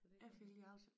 Jeg fik lige afsat